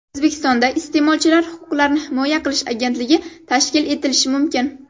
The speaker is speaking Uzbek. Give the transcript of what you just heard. O‘zbekistonda Iste’molchilar huquqlarini himoya qilish agentligi tashkil etilishi mumkin.